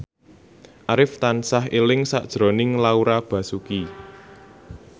Arif tansah eling sakjroning Laura Basuki